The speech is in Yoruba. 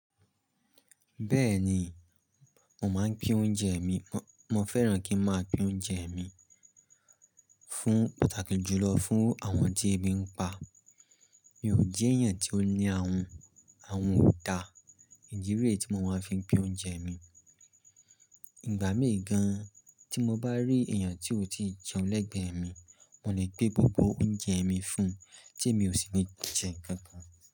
Bẹ́ẹ̀ni, mo máa ń pín oúnjẹ mi. Mo fẹ́ràn kí n máa pín oúnjẹ mi fún pàtàkì jùlọ fún àwọn tí ebi ń pa. Mi ò jẹ́ èèyàn tí ó ní ahun, ahun ò dáa. Ìdí rèé tí mo máa fi ń pín oúnjẹ mi. Ìgbà míì gan-an tí mo bá rí èèyàn tí ò tíì jẹun lẹ́gbẹ̀ẹ́ mi, mo lè gbé gbogbo oúnjẹ mi fún-un tí èmi ò sì ní jẹ nǹkan kan.